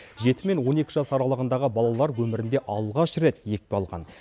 жеті мен он екі жас аралығындағы балалар өмірінде алғаш рет екпе алған